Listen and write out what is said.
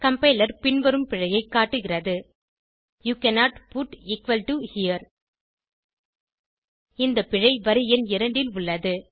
compiler பின்வரும் பிழையைக் காட்டுகிறது யூ கன்னோட் புட் ஹெரே இந்த பிழை வரி எண் 2 ல் உள்ளது